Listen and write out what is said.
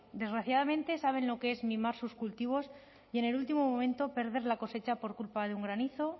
desgraciadamente saben lo que es mimar sus cultivos y en el último momento perder la cosecha por culpa de un granizo